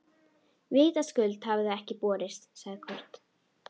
Vitaskuld hafa þau ekki borist, sagði Kort.